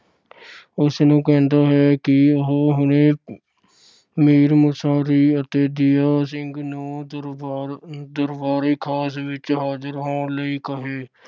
ਉਸ ਨੂੰ ਕਹਿੰਦਾ ਹੈ ਕਿ ਉਹ ਹੁਣੇ ਮੀਰ ਮੁਨਸ਼ੀ ਅਤੇ ਦਯਾ ਸਿੰਘ ਨੂੰ ਦਰਬਾਰ ਅਹ ਦਰਬਾਰੇਖ਼ਾਸ ਵਿੱਚ ਹਾਜਰ ਹੋਣ ਲਈ ਕਹੇ।